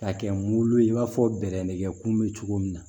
K'a kɛ mun ye i b'a fɔ bɛrɛ nikɛkun bɛ cogo min na